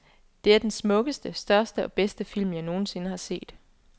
Det er den smukkeste, største og bedste film, jeg nogen sinde har set.